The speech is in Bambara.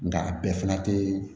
Nka a bɛɛ fana tɛ